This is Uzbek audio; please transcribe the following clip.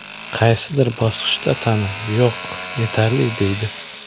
Qaysidir bosqichda tana ‘yo‘q’, ‘yetarli’ deydi.